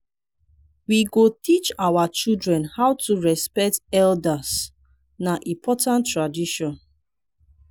we go teach our children how to respect elders na important tradition.